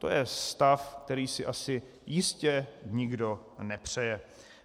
To je stav, který si asi jistě nikdo nepřeje.